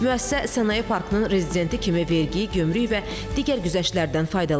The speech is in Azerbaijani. Müəssisə sənaye parkının rezidenti kimi vergi, gömrük və digər güzəştlərdən faydalanır.